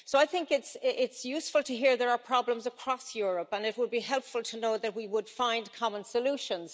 So I think it's useful to hear there are problems across Europe, and it would be helpful to know that we would find common solutions.